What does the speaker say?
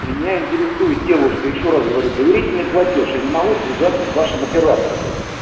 меня интересует девушка ещё раз говорю доверительный платёж я не могу связаться с вашим оператором